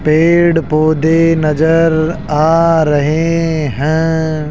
पेड़ पौधे नजर आ रहे हैं।